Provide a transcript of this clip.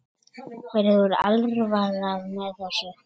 Mér er alvara með þessu.